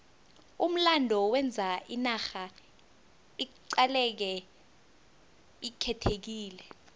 umlando wenza inarha iqaleke ikhethekile